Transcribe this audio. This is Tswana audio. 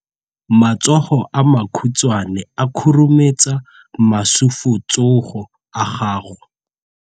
Matsogo a makhutshwane a khurumetsa masufutsogo a gago.